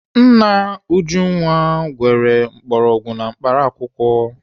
Nna Ujunwa gwere mgbọrọgwụ na mkpaakwụkwọ.